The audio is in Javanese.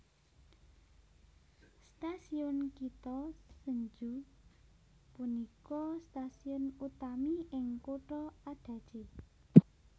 Stasiun Kita Senju punika stasiun utami ing kutha Adachi